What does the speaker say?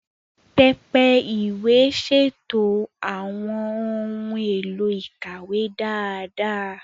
Pẹpẹ ìwé ṣètò àwọn ohun èlò ìkàwé dáadáa.